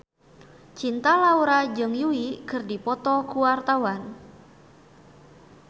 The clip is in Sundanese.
Cinta Laura jeung Yui keur dipoto ku wartawan